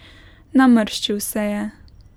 Namrščil se je.